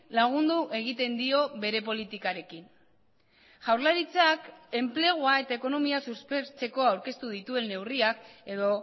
lagundu egiten dio bere politikarekin jaurlaritzak enplegua eta ekonomia suspertzeko aurkeztu dituen neurriak edo